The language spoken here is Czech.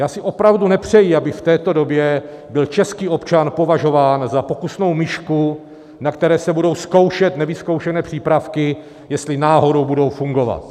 Já si opravdu nepřeji, aby v této době byl český občan považován za pokusnou myšku, na které se budou zkoušet nevyzkoušené přípravky, jestli náhodou budou fungovat.